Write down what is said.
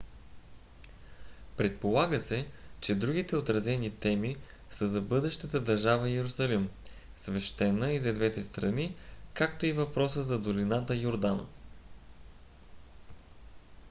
предполага се че другите отразени теми са за бъдещата държава йерусалим свещена и за двете страни както и въпроса за долината йордан